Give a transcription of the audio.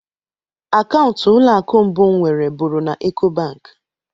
Akaụntụ ụlọ akụ mbụ m nwere bụrụ na Ek.o Bank